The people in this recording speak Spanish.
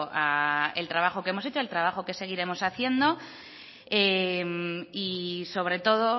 al trabajo que hemos hecho al trabajo que seguiremos haciendo y sobre todo